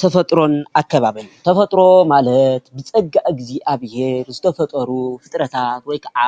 ተፈጥሮን ኣከባብን፡- ተፈጥሮ ማለት ብፀጋ እግዚኣብሔር ዝተፈጠሩ ፍጥረታት ወይ ከዓ